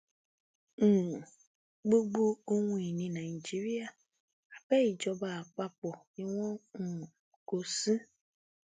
um gbogbo ohun ìní nàìjíríà abẹ́ ìjọba àpapọ ni wọn um kó o sí